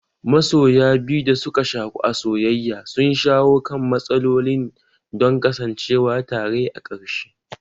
Masoya biyu da suka shaku a soyaya sun shawo kan matsalolin don kasancewa tare a ƙarshe.